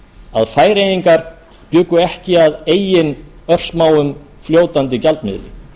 að færeyingar bjuggu ekki að eigin örsmáum fljótandi gjaldmiðli